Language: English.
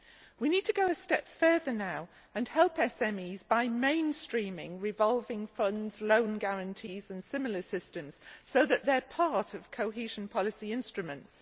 We need to go a step further now and help SMEs by mainstreaming revolving funds, loan guarantees and similar systems so that they are part of cohesion policy instruments.